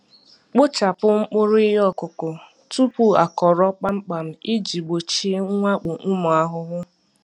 Kpochapụ mkpụrụ ihe ọkụkụ tupu akọrọ kpamkpam iji gbochie mwakpo ụmụ ahụhụ.